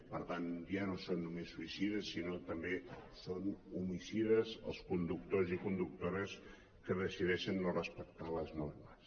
per tant ja no són només suïcides sinó que també són homicides els conductors i conductores que decideixen no respectar les normes